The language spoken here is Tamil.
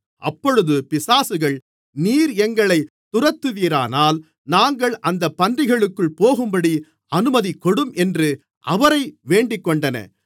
அப்பொழுது பிசாசுகள் நீர் எங்களைத் துரத்துவீரானால் நாங்கள் அந்தப் பன்றிகளுக்குள் போகும்படி அனுமதிகொடும் என்று அவரை வேண்டிக்கொண்டன